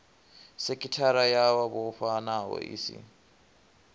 sekithara yo vhofhanaho i si